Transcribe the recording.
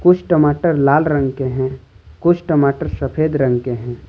कुछ टमाटर लाल रंग के हैं कुछ टमाटर सफेद रंग के हैं।